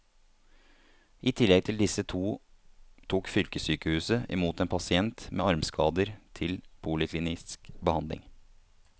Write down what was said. I tillegg til disse to tok fylkessykehuset i mot en pasient med armskader til poliklinisk behandling.